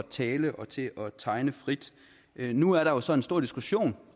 tale og til at tegne frit nu er der så en stor diskussion